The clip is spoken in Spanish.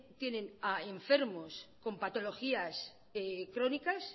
tienen enfermos con patologías crónicas